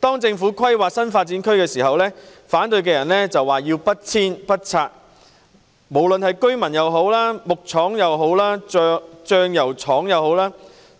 當政府規劃新發展區時，反對者說要不遷不拆，無論是居民、木廠或醬油廠